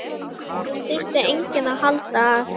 Það þyrfti enginn að halda að